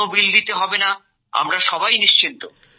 কোনো বিল দিতে হবে না আমরা সবাই নিশ্চিন্ত